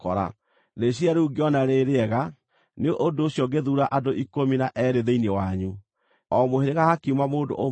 Rĩciiria rĩu ngĩona rĩ-rĩega; nĩ ũndũ ũcio ngĩthuura andũ ikũmi na eerĩ thĩinĩ wanyu, o mũhĩrĩga hakiuma mũndũ ũmwe.